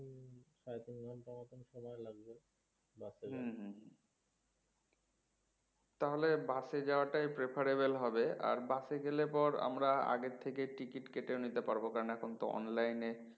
হম হম হম তাহলে bus এ যাওয়াটাই preferable হবে আর bus এ গেলে পর আমরা আগে থেকে ticket কেটেও নিতে পারবো কেননা এখন তো online এ